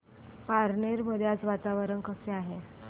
पारनेर मध्ये आज वातावरण कसे आहे